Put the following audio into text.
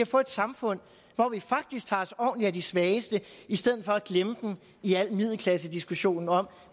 få et samfund hvor vi faktisk tager os ordentligt af de svageste i stedet for at glemme dem i al middelklassediskussionen om